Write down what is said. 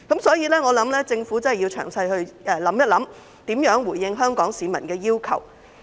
所以，我希望政府會詳細考慮如何回應香港市民的要求。